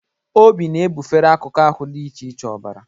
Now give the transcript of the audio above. Obi na-ebufere akụkụ ahụ dị iche iche ọbara.